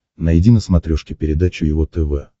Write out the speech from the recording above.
найди на смотрешке передачу его тв